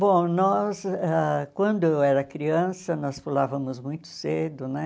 Bom, nós, ãh quando eu era criança, nós pulávamos muito cedo, né?